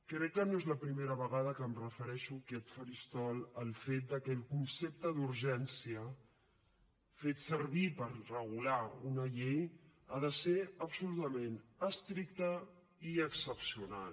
crec que no és la primera vegada que em refereixo en aquest faristol al fet de que el concepte d’urgència fet servir per regular una llei ha de ser absolutament estricte i excepcional